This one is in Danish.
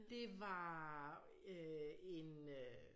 Det var øh en øh